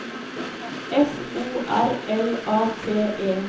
F O R L A T E